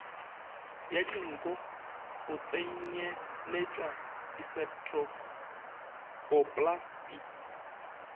ya dinko go tsenyeletšwa diseptpoplasti